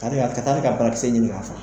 Karia ka taa ne ka barakisɛ ɲini ka' faga.